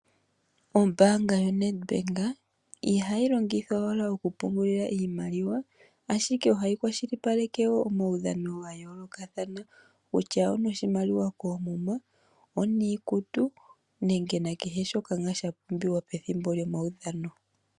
Ombaanga yoNEDBANK ohayi longithwa owala okupungulila iimaliwa ashike ohayi kwashilipaleke wo omadhano ga yoolokathana kutya ono shimaliwa koomuma oniikutu nenge nakehe shoka sha pumbiwa pethimbo lyomaudhano.